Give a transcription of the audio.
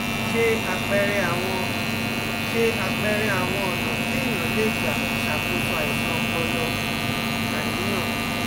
Se apere awọn Se apere awọn ọ̀nà tí eniyan lè gbà ṣàkóso àìsàn ọpọlọ/àníyàn